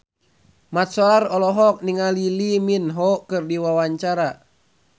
Mat Solar olohok ningali Lee Min Ho keur diwawancara